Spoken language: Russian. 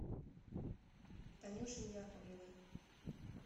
танюшей яковлевой